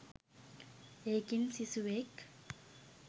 ඒකෙන් සිසුවෙක්